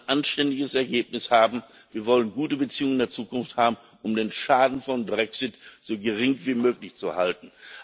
Wir wollen ein anständiges Ergebnis haben, wir wollen gute Beziehungen in der Zukunft haben, um den Schaden des Brexit so gering wie möglich zu halten.